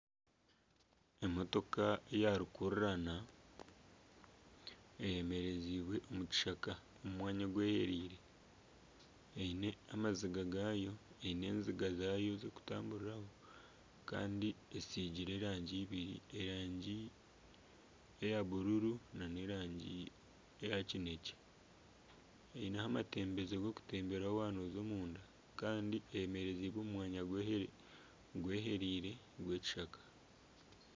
Emotoka ya rukururana eyemerezibwe omu kishaka omu mwanya ogwehereire eine enziga zaayo zokutamburiraho kandi esiigire erangi eibiri erangi eya bururu nana erangi eya kinekye eineho amatambezo g'okutemberaho waaba nooza omunda kandi eyemereziibwe omu mwanya gwehereire omu kishaka.